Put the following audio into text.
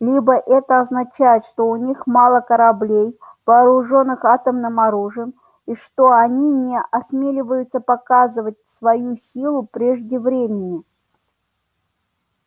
либо это означает что у них мало кораблей вооружённых атомным оружием и что они не осмеливаются показывать свою силу прежде времени